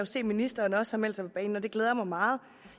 se at ministeren også har meldt sig på banen og det glæder mig meget